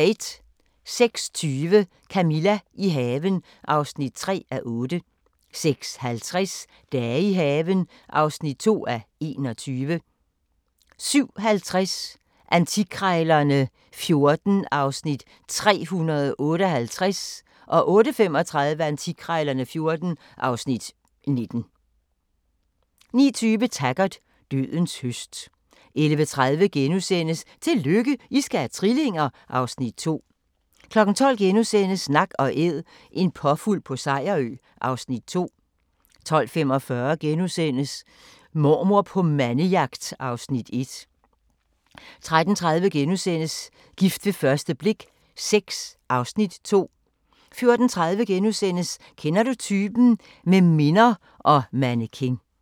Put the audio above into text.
06:20: Camilla – i haven (3:8) 06:50: Dage i haven (2:21) 07:50: Antikkrejlerne XIV (Afs. 358) 08:35: Antikkrejlerne XIV (Afs. 19) 09:20: Taggart: Dødens høst 11:30: Tillykke, I skal have trillinger! (Afs. 2)* 12:00: Nak & Æd – en påfugl på Sejerø (Afs. 2)* 12:45: Mormor på mandejagt (Afs. 1)* 13:30: Gift ved første blik VI (Afs. 2)* 14:30: Kender du typen? – Med minder og mannequin *